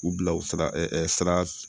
U bila u sara sira